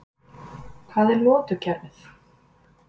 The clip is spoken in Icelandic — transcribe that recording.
Hvað er lotukerfið?